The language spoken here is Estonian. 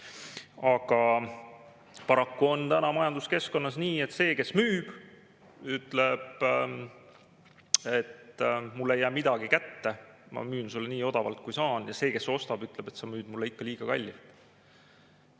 Aga paraku on täna majanduskeskkonnas nii, et see, kes müüb, ütleb: "Mulle ei jää midagi kätte, ma müün sulle nii odavalt, kui saan," ja see, kes ostab, ütleb: "Sa müüd mulle ikka liiga kallilt.